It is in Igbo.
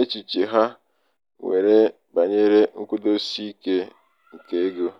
echiche ha nwere banyere nkwụdosiike keego.